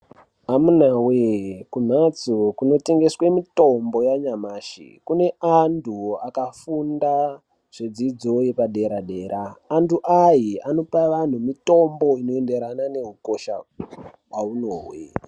Amunawee kumhatso kunotengeswa mitombo yanyamashi kune antu akafunda zvidzidzo yepadera antu aya anopa vanhu mitomboi noenderana ne ukosha waunohwe.